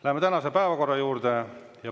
Läheme tänase päevakorra juurde.